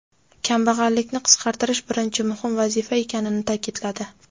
kambag‘allikni qisqartirish birinchi muhim vazifa ekanini ta’kidladi.